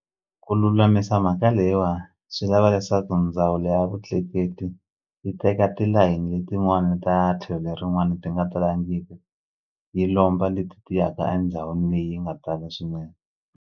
Ku lulamisa mhaka leyiwani swi lava leswaku ndzawulo ya vutleketli yi teka tilayini letin'wani ta tlhelo lerin'wani ti nga talangiki yi lomba leti ti yaka a ndhawini leyi nga tala swinene.